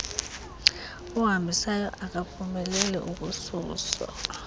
ohambisayo akaphumeleli ukususa